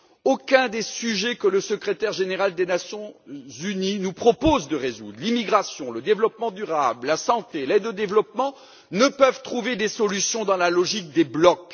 Aucun des questions auxquelles le secrétaire général des Nations unies nous propose de réfléchir l'immigration, le développement durable, la santé, l'aide au développement ne peut trouver de réponse dans la logique des blocs.